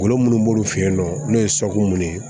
Golo minnu b'olu fɛ yen nɔ n'o ye minnu ye